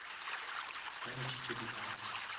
ba ntšhitše di bus